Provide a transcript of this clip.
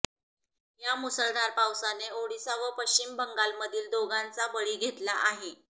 या मुसळधार पावसाने ओडिशा व पश्चिम बंगालमधील दोघांचा बळी घेतला आहे